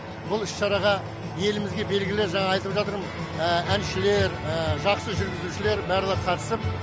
бұл іс шараға елімізге белгілі жаңағы айтып жатырмын әншілер жақсы жүргізушілер барлығы қатысып